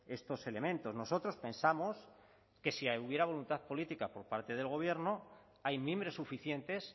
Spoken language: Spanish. estos elementos nosotros pensamos que si hubiera voluntad política por parte del gobierno hay mimbres suficientes